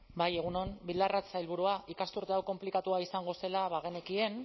bai egun on bildarratz sailburua ikasturte hau konplikatua izango zela bagenekien